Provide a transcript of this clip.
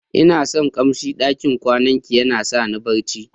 lna son kamsin ɗakin kwanan ki, yana sa ni barci.